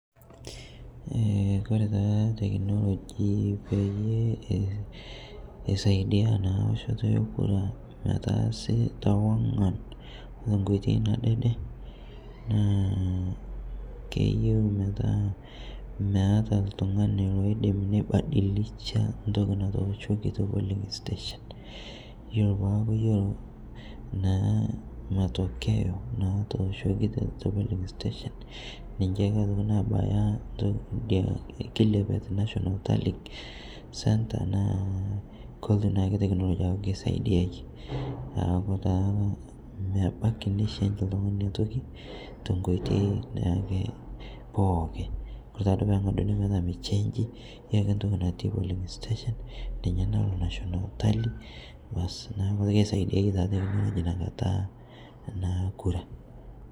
Kore taa technology peyie eisaidia naa loshoo teekura metaasi tewang'an tonkoitei nadede naa keyeu metaa meataa ltung'ani loidim neibadilisha ntoki natooshoki te polling station iyolo poopuo ayelou naa matokeo natooshoki te polling station ninshe naa otoki nabaya idia ekilepiet, national talling centre naa koltuu naake technology aaku keisaidiayie aaku taa mebaki nei change ltung'ani inia tokii tonkoitei naake pooki, kore taaduo peeng'aduni petaa meichenji iyolo ake ntoki nati polling station ninye naloo national tally baas naaku keisaidiaye naa technology inia kataa naa kuraa.